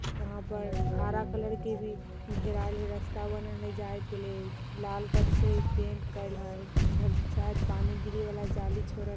यहाँ पर हारा कलर के भी घेरायल है रस्ता बनल है जाय के लेल लाल कलर से पेंट केयल है उधर शायद पानी गिरेवाला जाली छोरत --